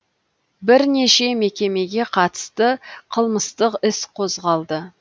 бірнеше мекемеге қатысты қылмыстық іс қозғалды